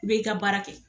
I bɛ i ka baara kɛ